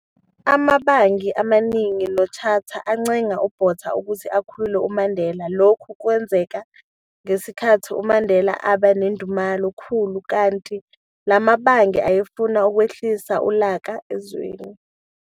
Amabangi amaningi noThatcher ancenga uBotha ukuthi akhulule uMandela - lokhu kwenzeka ngesikhathi uMandela eba nedumela khulu, kanti la mabhangi ayefuna ukwehlisa ulaka ezweni.